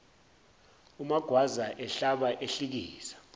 umagwaza ehlaba ehlikiza